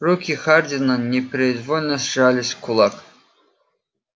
руки хардина непроизвольно сжались в кулак